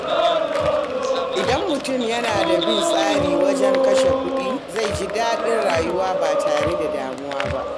Idan mutum yana bin tsari wajen kashe kuɗi, zai ji daɗin rayuwa ba tare da damuwa ba.